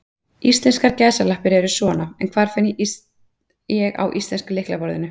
Íslenskar gæsalappir eru svona, en hvar finn ég á íslenska lyklaborðinu?